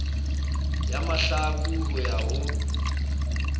ya mahlaku ho ya ho